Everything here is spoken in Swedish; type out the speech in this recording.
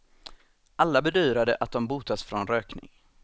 Alla bedyrade att de botats från rökning.